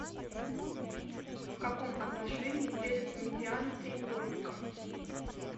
в каком отношении делятся медианы треугольника